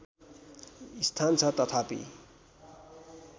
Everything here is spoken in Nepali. स्थान छ तथापि